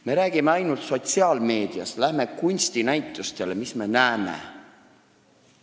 Me räägime ainult sotsiaalmeediast, aga läheme kunstinäitustele – mis me näeme?